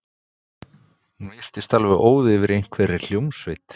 Hún virtist alveg óð yfir einhverri hljómsveit.